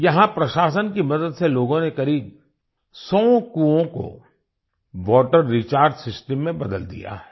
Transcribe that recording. यहाँ प्रशासन की मदद से लोगों ने करीब सौ कुओं को वाटर रिचार्ज सिस्टम में बदल दिया है